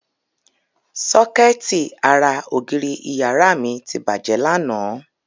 Sọ́kẹ́ẹ̀tì ara ògiri ìyàrá mi ti bàjẹ́ lánàá.